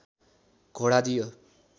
घोडा दियो